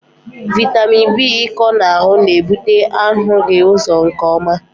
Vitamin B ịkọ n'ahụ na-ebute ahụghị ụzọ nke ọma.